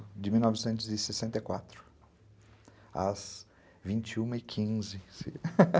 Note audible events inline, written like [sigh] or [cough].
de mil novecentos e sessenta e quatro, às vinte e uma e quinze [laughs]